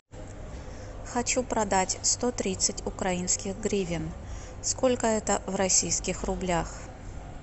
хочу продать сто тридцать украинских гривен сколько это в российских рублях